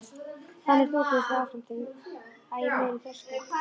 Þannig þokuðust þau áfram til æ meiri þroska.